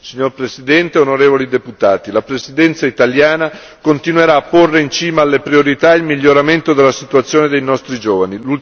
Signora Presidente, onorevoli deputati, la Presidenza italiana continuerà a porre in cima alle priorità il miglioramento della situazione dei nostri giovani.